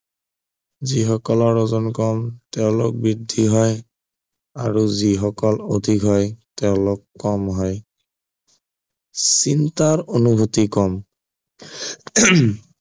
যি সকলৰ ওজন কম তেওঁলোক বৃদ্ধি হয় আৰু যি সকলৰ অধিক হয় তেওঁলোক কম হয় চিন্তাৰ অনুভূতি কম উম